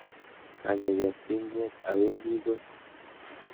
Kakeker tinget, awendi koi.